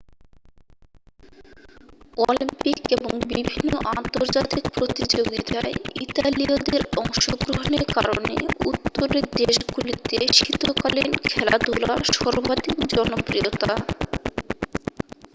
Olympic এবং বিভিন্ন আন্তর্জাতিক প্রতিযোগিতায় ইতালীয়দের অংশগ্রহনের কারণে উত্তরের দেশগুলিতে শীতকালীন খেলাধুলা সর্বাধিক জনপ্রিয়তা